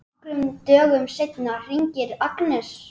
Nokkrum dögum seinna hringir Agnes.